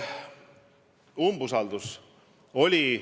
Umbusalduse avaldamine oli.